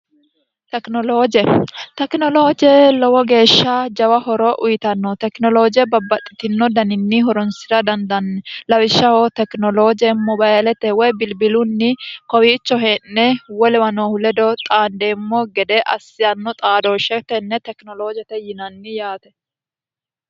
tekinolooje tekinolooje lowo geeshsha jawa horo uyitanno tekinolooje babbaxxitino daninni horonsi'ra dandanni lawishshaho tekinoloojemmo bayilete woy bilbilunni kowiicho hee'ne wo lewanoohu ledo xaandeemmo gede assiyanno xaadooshshe tenne tekinoloojete yinanni yaate